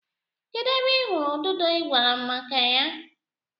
Kedu ebe ị hụrụ ududo ị gwara m maka ya?